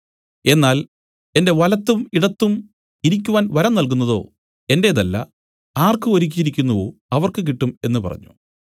എന്നാൽ എന്റെ വലത്തും ഇടത്തും ഇരിക്കുവാൻ വരം നല്കുന്നതോ എന്റേതല്ല ആർക്ക് ഒരുക്കിയിരിക്കുന്നുവോ അവർക്ക് കിട്ടും എന്നു പറഞ്ഞു